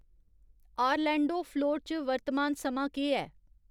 Orlando Florida च वर्तमान समां केह् ऐ